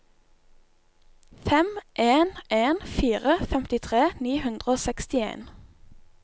fem en en fire femtitre ni hundre og sekstien